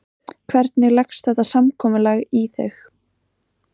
Hvernig leggst þetta samkomulag í þig?